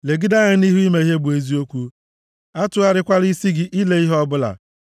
Legide anya nʼihu ime ihe bụ eziokwu; atụgharịkwala isi gị ile ihe ọbụla.